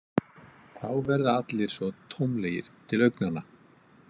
Þá verða allir svo tómlegir til augnanna.